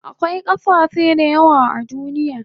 Akwai kasashe dayawa a duniya